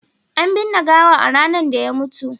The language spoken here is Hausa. an binne gawan ranar da ya mutu